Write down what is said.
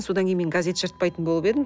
сонан кейін мен газет жыртпайтын болып едім